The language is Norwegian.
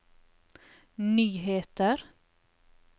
nyheter